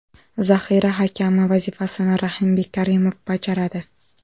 Zaxira hakami vazifasini Rahimbek Karimov bajaradi.